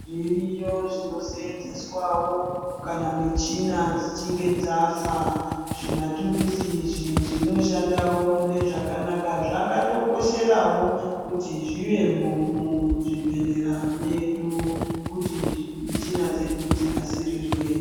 Zviriyo zvinosenzeswa wo , kana michina dzichinge dzafa. Zvimatuluzi zvinoshandawo munezwakanaka. Zvakatokosherawo kuti zvive mo muzvibhedhlera medu kuti michina dzedu dzinasirirwe.